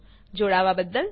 જોડાવાબદ્દલ આભાર